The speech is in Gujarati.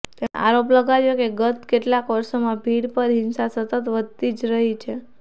તેમણે આરોપ લગાવ્યો કે ગત કેટલાક વર્ષોમાં ભીડ પર હિંસા સતત વધતી જ રહી છે